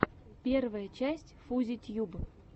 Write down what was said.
первая часть фузи тьюб